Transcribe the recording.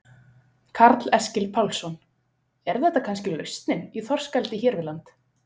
Karl Eskil Pálsson: Er þetta kannski lausnin í þorskeldi hér við land?